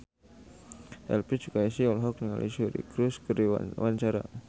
Elvi Sukaesih olohok ningali Suri Cruise keur diwawancara